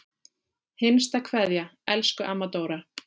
HINSTA KVEÐJA Elsku amma Dóra.